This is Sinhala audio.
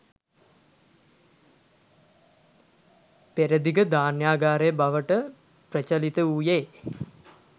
පෙරදිග ධාන්‍යාගාරය බවට ප්‍රචලිත වූයේ